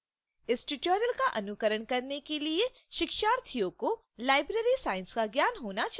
इस tutorial का अनुकरण करने के लिए शिक्षार्थियों को library science का ज्ञान होना चाहिए